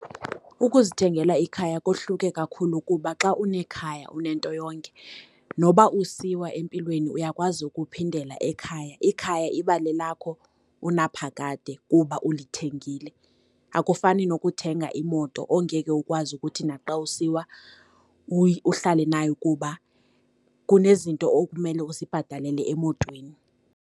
Ukuzithengela ikhaya kohluke kakhulu kuba xa unekhaya unento yonke, noba usiwa empilweni uyakwazi ukuphindela ekhaya. Ikhaya iba lelakho unaphakade kuba ulithengile. Akufani nokuthenga imoto ongeke ukwazi ukuthi naxa usiwa uhlale nayo kuba kunezinto okumele uzibhatalele emotweni.